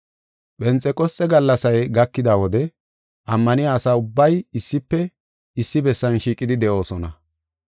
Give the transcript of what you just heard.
Phenxeqosxe gallasay gakida wode ammaniya asa ubbay issife issi bessan shiiqidi de7oosona.